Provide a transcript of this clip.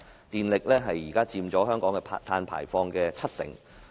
電力現時佔香港碳排放的七成。